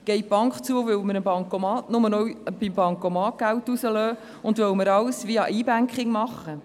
Geht die Bank zu, weil wir nur noch am Bancomat Geld beziehen und weil wir alles via E-Banking machen?